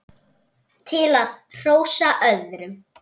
til að hrósa öðrum